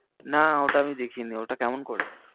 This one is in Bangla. না, ওটা আমি দেখিনি, ওটা কেমন করেছে?